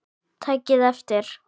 Takið eftir!